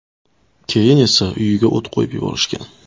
Keyin esa uyiga o‘t qo‘yib yuborishgan.